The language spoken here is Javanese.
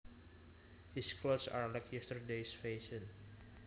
His clothes are like yesterdays fashion